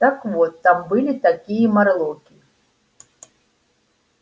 так вот там были такие морлоки